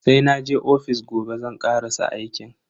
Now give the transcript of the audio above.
Sai naje ofis gobe zan karasa aikin.